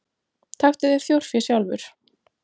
Taktu þér þjórfé sjálfur.